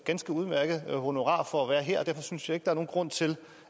ganske udmærket honorar for at være her og derfor synes jeg ikke er nogen grund til